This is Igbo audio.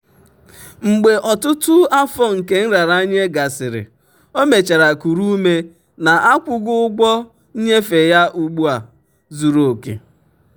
"mgbe ọtụtụ afọ nke nraranye gasịrị o mechara kuru ume na akwụgo ụgwọ nnyefe ya ugbu a zuru oke."